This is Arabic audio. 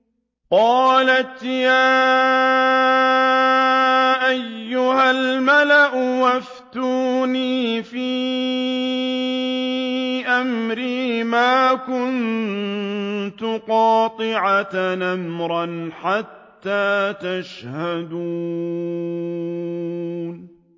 قَالَتْ يَا أَيُّهَا الْمَلَأُ أَفْتُونِي فِي أَمْرِي مَا كُنتُ قَاطِعَةً أَمْرًا حَتَّىٰ تَشْهَدُونِ